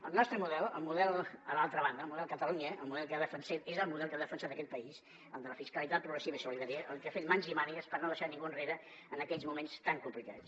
el nostre model el model a l’altra banda el model catalunya el model que defensem és el model que ha defensat aquest país el de la fiscalitat progressiva i solidària el que ha fet mans i mànigues per no deixar ningú enrere en aquells moments tan complicats